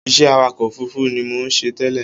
Iṣẹ́ awakọ̀ òfurufú ni mò ń ṣe tẹ́lẹ̀